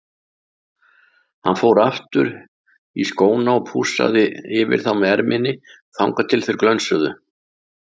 Hann fór aftur í skóna og pússaði yfir þá með erminni þangað til þeir glönsuðu.